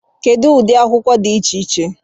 Kedu ụdị akwụkwọ dị iche iche